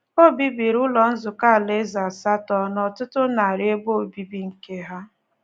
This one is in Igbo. O bibiri Ụlọ Nzukọ Alaeze asatọ na ọtụtụ narị ebe obibi nke Ha.